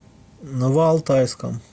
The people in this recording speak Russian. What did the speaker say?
новоалтайском